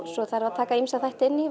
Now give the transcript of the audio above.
svo þarf að taka ýmsa þætti inn í